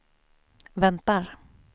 väntar